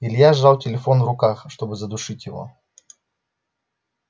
илья сжал телефон в руках чтобы задушить его